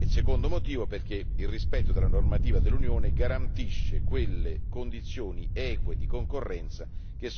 Il secondo, perché il rispetto della normativa dell'Unione garantisce quelle condizioni eque di concorrenza